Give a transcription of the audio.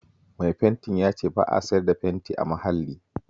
Mai fentin ya ce ba a siyar da fenti a Mahalli